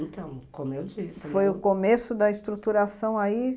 Então, como eu disse... Foi o começo da estruturação aí?